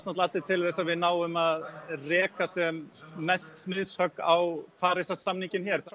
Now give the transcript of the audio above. allir til þess að við náum að reka sem mest smiðshögg á Parísarsamninginn hér